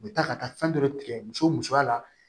U bɛ taa ka taa fɛn dɔ de tigɛ muso musoya la